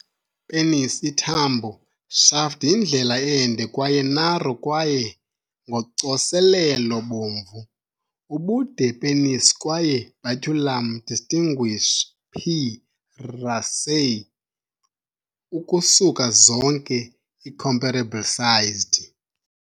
Penis ithambo, shaft yindlela ende kwaye narrow kwaye ngocoselelo bomvu. ubude penis kwaye baculum distinguish, P. raceyi, ukusuka zonke i-comparable sized.